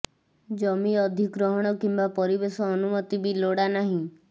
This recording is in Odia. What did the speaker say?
ଜମି ଅଧିଗ୍ରହଣ କିମ୍ୱା ପରିବେଶ ଅନୁମତି ବି ଲୋଡ଼ା ନାହିଁ